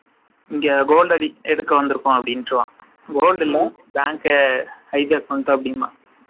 இங்க gold அடிக்கவந்துருக்கோம் அப்டின்னுருவான். Gold இல்ல bank அ